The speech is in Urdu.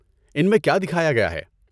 ان میں کیا دکھایا گیا ہے؟